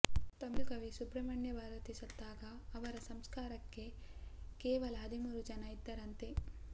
ತಮಿಳು ಕವಿ ಸುಬ್ರಮಣ್ಯ ಭಾರತಿ ಸತ್ತಾಗ ಅವರ ಸಂಸ್ಕಾರಕ್ಕೆ ಕೇವಲ ಹದಿಮೂರು ಜನ ಇದ್ದರಂತೆ